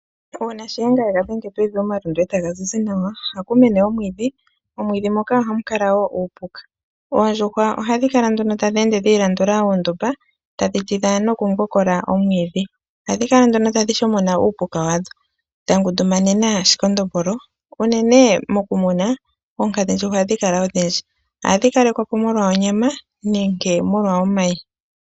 Uuna shiyenga yega dhenge pevi, omalundu etaga zizi nawa, ohaku mene omwidhi momwidhi moka ohamu kala wo uupuka. Oondjuhwa ohadhi kala nduno tadhi ende dhiilandula ondumba, tadhi tidha noku mbokola oomwidhi. Ohadhi kala nduno tadhi shokona uupuka wadho, dha ngundu manena shi kondombolo, uunene moku muna oondjuhwankadhi ohadhi kala odhindji, ohadhi kalekwapo molwa oonyama nenge omayi.